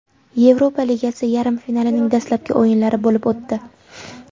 Yevropa Ligasi yarim finalining dastlabki o‘yinlari bo‘lib o‘tdi.